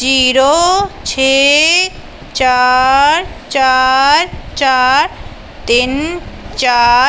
Zero ਛੇ ਚਾਰ ਚਾਰ ਚਾਰ ਤਿੰਨ ਚਾਰ।